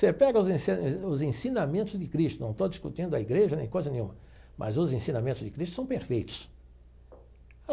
Você pega os ensi os ensinamentos de Cristo, não estou discutindo a igreja nem coisa nenhuma, mas os ensinamentos de Cristo são perfeitos.